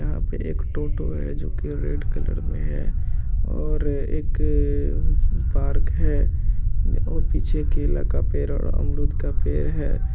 यहां पे एक टोटो है जो की रेड कलर में है और एक पार्क है और पीछे केला का पेड़ और अमरूद का पेड़ है।